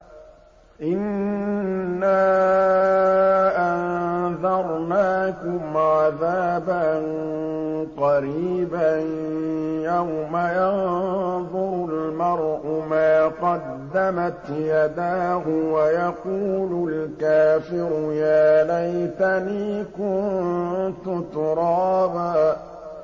إِنَّا أَنذَرْنَاكُمْ عَذَابًا قَرِيبًا يَوْمَ يَنظُرُ الْمَرْءُ مَا قَدَّمَتْ يَدَاهُ وَيَقُولُ الْكَافِرُ يَا لَيْتَنِي كُنتُ تُرَابًا